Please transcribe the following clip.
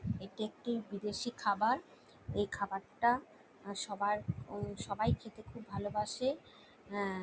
এটি একটি বিদেশী খাবার এই খাবারটা সবাই খেতে খুব ভালোবাসে আ--